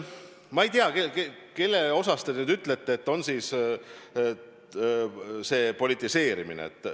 Ma ei tea, kelle tõttu te nüüd ütlete, et on politiseerimine.